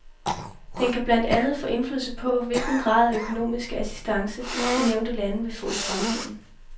Den kan blandt andet få indflydelse på, hvilken grad af økonomiske assistance, de nævnte lande vil få i fremtiden.